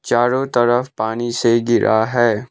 चारों तरफ पानी से घिरा है।